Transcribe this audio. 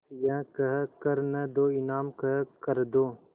यह कह कर न दो इनाम कह कर दो